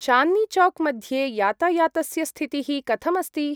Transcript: चान्द्नी चौक् मध्ये यातायातस्य स्थितिः कथम् अस्ति?